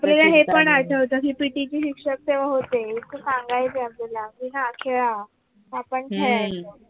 आपल्याला हे पण आठवत कि P. T शिक्षक तेव्हा होते ते सांगायचे आपल्याला कि हा खेळा आपण खेळायचो